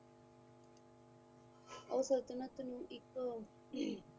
ਉਹ ਸੰਤਤਲਣ ਇੱਕ